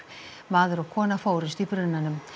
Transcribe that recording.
maður og kona fórust í brunanum